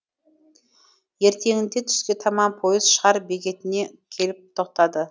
ертеңінде түске таман пойыз шар бекетіне келіп тоқтады